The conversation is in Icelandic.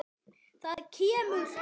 Þar kemur fram